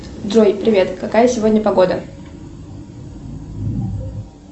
джой привет какая сегодня погода